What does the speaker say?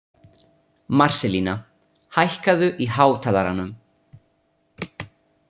Marselína, hækkaðu í hátalaranum.